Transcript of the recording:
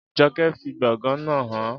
Jọkẹ́ fi gbọ̀ngàn náà hàn án